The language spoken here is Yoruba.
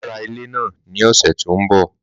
Màá ra ilé náà ní ọ̀sẹ̀ tí ó ń bọ̀